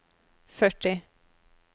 førti